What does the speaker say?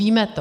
Víme to.